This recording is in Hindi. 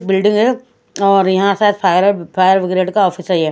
बिल्डिंग है और यहाँ सायद फायर फायर ब्रिगेड का ऑफिस है।